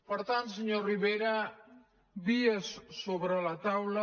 per tant senyor rivera vies sobre la taula